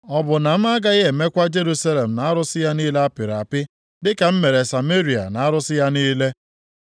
Ọ bụ na m agaghị emekwa Jerusalem na arụsị ya niile apịrị apị dịka m mere Sameria na arụsị ya niile?’ ”